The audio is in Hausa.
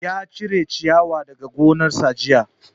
Ya cire ciyawa daga gonar sa jiya